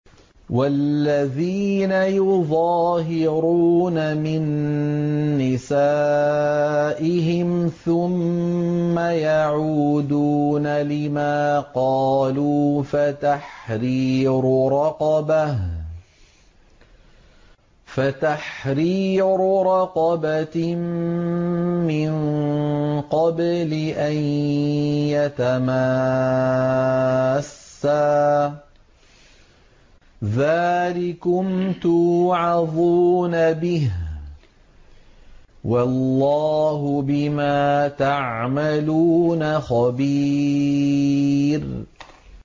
وَالَّذِينَ يُظَاهِرُونَ مِن نِّسَائِهِمْ ثُمَّ يَعُودُونَ لِمَا قَالُوا فَتَحْرِيرُ رَقَبَةٍ مِّن قَبْلِ أَن يَتَمَاسَّا ۚ ذَٰلِكُمْ تُوعَظُونَ بِهِ ۚ وَاللَّهُ بِمَا تَعْمَلُونَ خَبِيرٌ